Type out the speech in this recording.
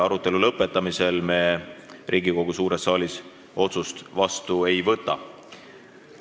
Arutelu lõppemisel me Riigikogu suures saalis otsust vastu ei võta.